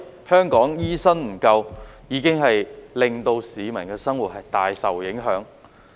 香港的醫生不足，已經令市民的生活大受影響。